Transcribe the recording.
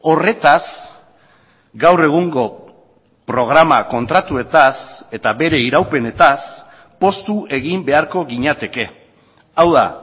horretaz gaur egungo programa kontratuetaz eta bere iraupenetaz poztu egin beharko ginateke hau da